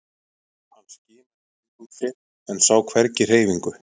Hann skimaði í kringum sig en sá hvergi hreyfingu.